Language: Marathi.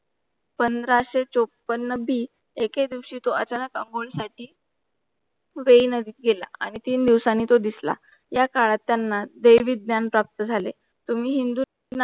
पंधरा से चौपन्न बी एकेदिवशी तो अचानक अंघोळी साठी वेई नदीत गेला आणि तीन दिवसांनी तो दिसला. या काळात त्यांना वे विज्ञान प्राप्त झाले. तुम्ही हिंदू